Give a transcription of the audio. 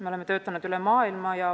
Me oleme töötanud üle maailma.